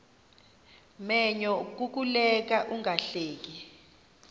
menyo kukuleka ungahleki